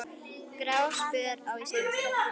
Gráspör á Íslandi